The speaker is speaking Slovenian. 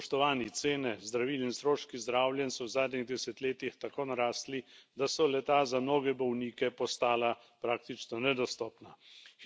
Spoštovani, cene zdravil in stroški zdravljenj so v zadnjih desetletjih tako narasli, da so le ta za nove bolnike postala praktično nedostopna.